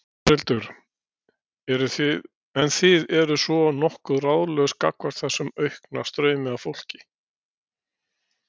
Þórhildur: En þið eru svona nokkuð ráðalaus gagnvart þessum aukna straumi af fólki?